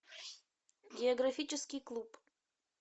географический клуб